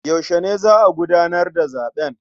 Yaushe ne za a gudanar da zaɓen?